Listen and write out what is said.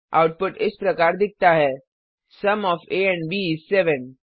output इस प्रकार दिखता है sum of a and b इस 7